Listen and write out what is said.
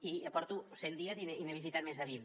i porto cent dies i n’he visitat més de vint